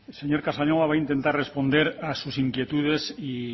señor casanova voy a intentar responder a sus inquietudes y